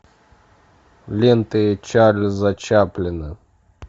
ленты чарльза чаплина